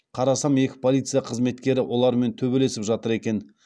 қарасам екі полиция қызметкері олармен төбелесіп жатыр екен